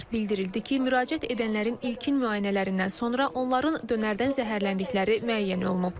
Bildirildi ki, müraciət edənlərin ilkin müayinələrindən sonra onların dönərdən zəhərləndikləri müəyyən olunub.